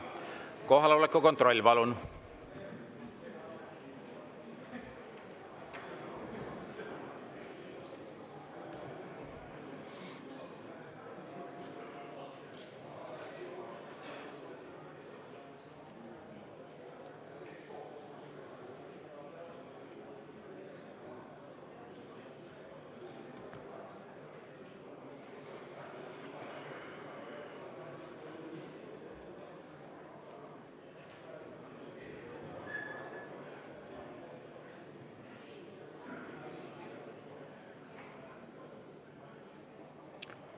Kohaloleku kontroll, palun!